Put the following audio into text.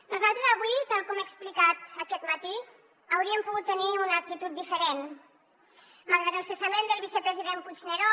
nosaltres avui tal com he explicat aquest matí hauríem pogut tenir una actitud diferent malgrat el cessament del vicepresident puigneró